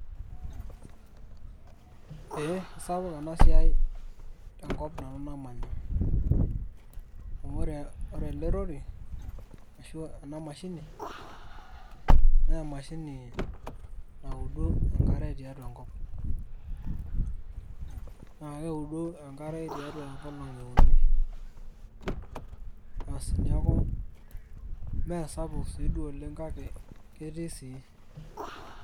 ee sapuk ena siai, tenkop nanu namanya, amu ore ele rori ashu ena mashini. amu ore ena mashini naa e,ashini naudu enkare tiatua enkop. naa keudu enkare tiatua nkolong'i uni, neeku me sapuk sii duo oleng kake ketii sii.